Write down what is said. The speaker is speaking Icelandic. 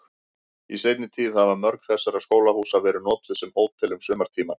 Í seinni tíð hafa mörg þessara skólahúsa verið notuð sem hótel um sumartímann.